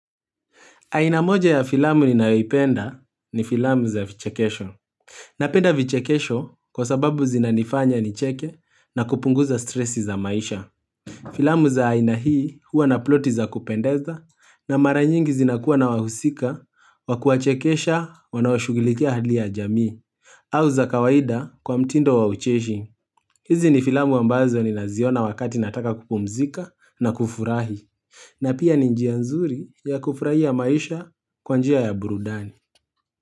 Aina moja ya filamu ninayoipenda ni filamu za vichekesho. Napenda vichekesho kwa sababu zinanifanya nicheke na kupunguza stresi za maisha. Filamu za aina hii huwa na ploti za kupendeza na mara nyingi zinakuwa na wahusika wa kuwachekesha wanaoshugilikia hali ya jamii. Au za kawaida kwa mtindo wa ucheshi. Hizi ni filamu ambazo ninaziona wakati nataka kupumzika na kufurahi. Na pia ni njia nzuri ya kufurahia maisha kwa njia ya burudani.